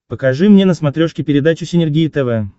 покажи мне на смотрешке передачу синергия тв